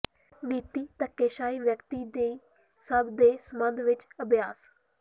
ਨੀਤੀ ਧੱਕੇਸ਼ਾਹੀ ਵਿਅਕਤੀ ਦੀ ਸਭ ਦੇ ਸਬੰਧ ਵਿੱਚ ਅਭਿਆਸ